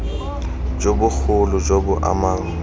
jo bogolo jo bo amang